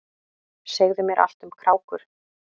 Segðu mér allt um krákur.